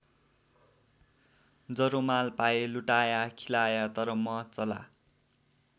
जरो माल पाए लुटाया खिलाया तर म चला।